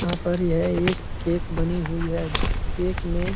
यहाँ पर यह एक केक बनी हुई है जिस केक में --